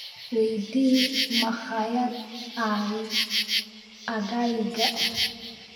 weydii makhaayad aaggayga